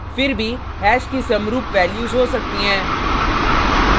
फिर भी हैश की समरुप वैल्यूज़ हो सकती हैं